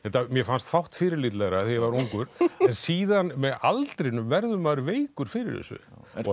mér fannst fátt fyrirlitlegra þegar ég var ungur en síðan með aldrinum verður maður veikur fyrir þessu